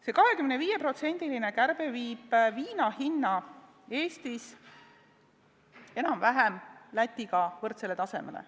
See 25%-ne kärbe viib viina hinna Eestis enam-vähem Lätiga võrdsele tasemele.